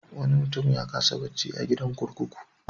Wani mutum ya kasa bacci a gidan kurkuku.